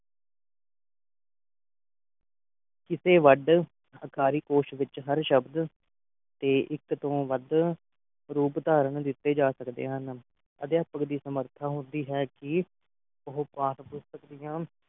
ਕਿਸੇ ਵੱਢ ਅਕਾਲੀ ਕੌਰ ਵਿੱਚ ਹਰ ਸ਼ਬਦ ਤੇ ਇੱਕ ਤੋਂ ਵੱਧ ਰੂਪ ਧਾਰਨ ਦਿੱਤੇ ਜਾ ਸਕਦੇ ਹਨ ਅਧਿਆਪਕ ਦੀ ਸਮਰੱਥਾ ਹੁੰਦੀ ਹੈ ਕਿ ਉਹ ਪਾਠ ਪੁਸਤਕ ਦੀਆਂ